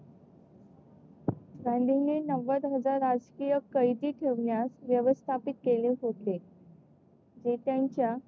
गांधींनी नव्वद हजार राजकीय कैदी ठेवण्यास व्यवस्थापित केले होते. जे त्याच्या